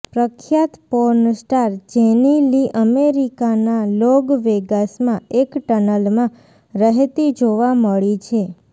પ્રખ્યાત porn star Jenny Lee અમેરિકાના લોગ વેગાસમાં એક ટનલમાં રહેતી જોવા મળી છે